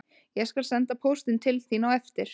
Ég skal senda póstinn til þín á eftir